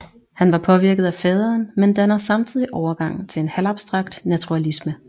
Han var påvirket af faderen men danner samtidig overgang til en halvabstrakt naturalisme